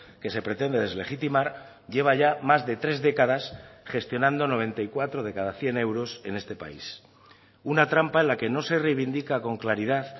que se pretende deslegitimar lleva ya más de tres décadas gestionando noventa y cuatro de cada cien euros en este país una trampa en la que no se reivindica con claridad